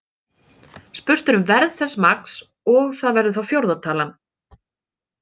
Spurt um verð þess magns og það verður þá fjórða talan.